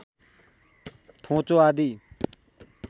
थोचो आदि